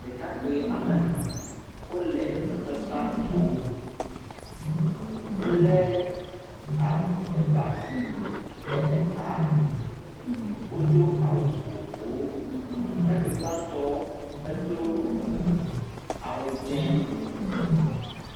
Ɖekakpui woame etɔ̃ wole xɔ dzi sasra tum wolé ab.. eba bublu ɖe eta, wodo awu vovovowo, ɖekakpui gbãtɔ̃ edo awu dzɛ.